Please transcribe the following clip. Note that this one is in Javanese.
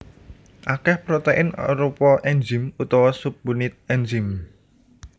Akèh protein arupa enzim utawa subunit enzim